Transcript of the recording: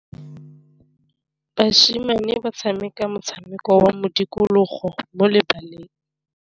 Basimane ba tshameka motshameko wa modikologô mo lebaleng.